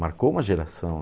Marcou uma geração.